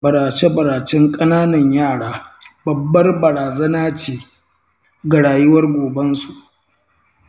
barace-baracen ƙananan yara babbar barazana ce ga rayuwar gobensu.